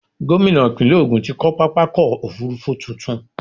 Gómìnà ìpínlẹ̀ Ògun ti kọ́ pápákọ̀-òfurufú tuntun.